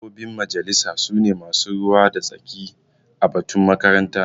Mambobin majalisa su ne masu ruwa da tsaki a batun makaranta.